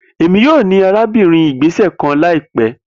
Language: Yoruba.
Emi yoo ni arabinrin igbesẹ kan laipẹ